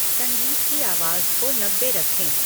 संगीत की आवाज़ को नब्बे रखें